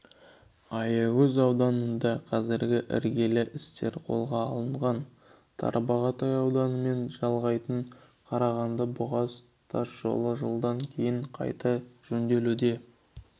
аягөз ауданында қазіргі іргелі істер қолға алынған тарбағатай ауданымен жалғайтын қарағанды-бұғаз тасжолы жылдан кейін қайта жөнделуде